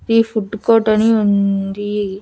ఈ ఫుడ్డు కోర్టని ఉంది.